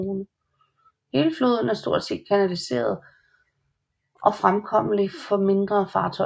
Hele floden er stort set kanaliseret og er fremkommelig for mindre fartøjer